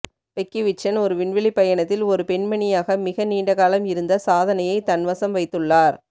Peggy Whitson ஒரு விண்வெளிப் பயணத்தில் ஒரு பெண்மணியாக மிக நீண்ட காலம் இருந்த சாதனையை தன்வசம் வைத்துள்ளார்